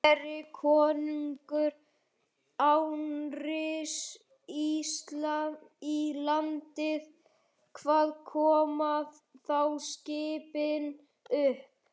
Geri konungur innrás í landið, hvar koma þá skipin upp?